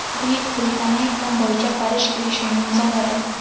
Buyuk Britaniya iqlim bo‘yicha Parij kelishuvini imzoladi.